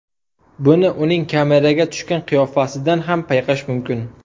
Buni uning kameraga tushgan qiyofasidan ham payqash mumkin.